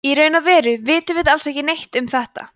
en í raun og veru vitum við alls ekki neitt um þetta